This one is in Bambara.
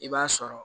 I b'a sɔrɔ